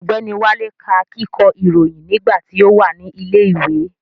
Ọ̀gbẹ́ni Wálé ká kíkọ́ ìròyìn nígbà tí ó wà ní ilẹ̀ ìwé